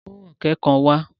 Kó ọ̀ké kan wá!